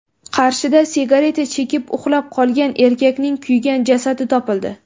Qarshida sigareta chekib, uxlab qolgan erkakning kuygan jasadi topildi.